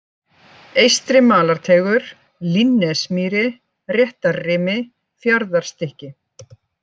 Eystri-Malarteigur, Línnesmýri, Réttarrimi, Fjarðarstykki